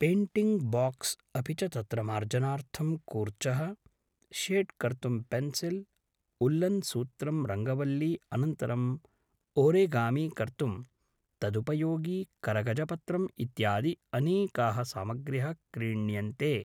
painting box अपि च तत्र मार्जनार्थं कूर्चः शेड् कर्तुं पेन्सिल् उल्लन् सूत्रं रङ्गवल्ली अनन्तरम् ओरिगामि कर्तुं तदुपयोगि करगजपत्रम् इत्यादि अनेका: सामग्र्य: क्रीण्यन्ते